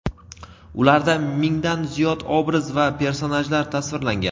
Ularda mingdan ziyod obraz va personajlar tasvirlangan.